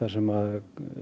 sem